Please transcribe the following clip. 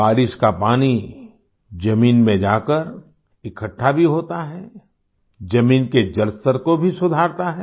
बारिश का पानी जमीन में जाकर इकठ्ठा भी होता है जमीन के जलस्तर को भी सुधारता है